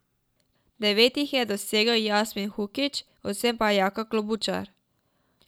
Devet jih je dosegel Jasmih Hukić, osem pa Jaka Klobučar.